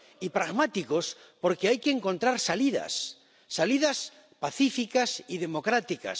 y pragmáticos, porque hay que encontrar salidas pacíficas y democráticas.